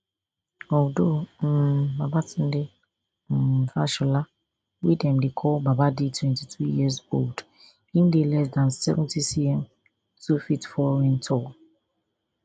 although um babatunde um fashola wey dem dey call baba dey twenty-two years old im dey less dan seventycm two feet four inch tall